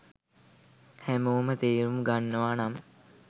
හැමෝම තේරුම් ගන්නවා නම්.